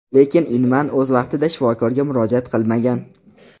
Lekin Inman o‘z vaqtida shifokorga murojaat qilmagan.